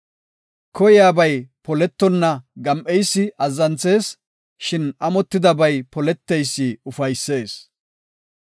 Koyiyabay poletonna gam7eysi azzanthees; shin amotidabay poleteysi ufaysees.